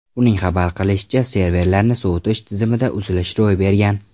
Uning xabar qilishicha, serverlarni sovutish tizimida uzilish ro‘y bergan.